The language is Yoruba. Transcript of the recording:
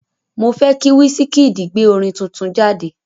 Mo fẹ́ kí Wísíkíìdì gbé orin tuntun jáde.